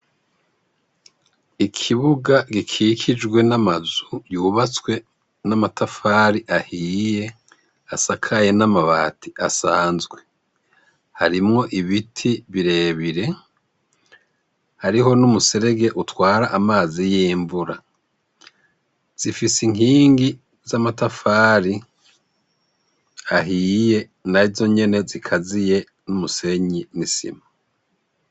Ikibuga gikikijwe n'amazu yubatswe n'amatafari ahiye asakaye n'amabati asanzwe harimwo ibiti birebire hariho n'umuserege utwara amazi y'imvura zifise inkie ingi z'amatafari ahiye na zo nyene zikaziye n'umusenyi n'isima.